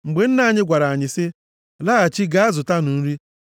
“Mgbe nna anyị gwara anyị sị, ‘Laghachi gaa zụta nri,’